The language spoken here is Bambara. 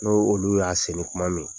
N'o olu y'a seni kuma min.